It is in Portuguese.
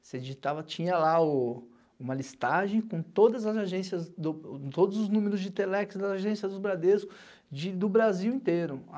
Você digitava, tinha lá uma listagem com todos os números de Telex das agências do Bradesco, do Brasil inteiro.